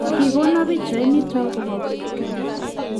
kikono pichait nitok kobo keny